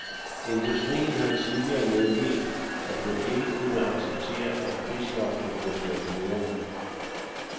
Industrien har tidligere meldt, at den ikke kunne acceptere, at prisloftet blev ført videre.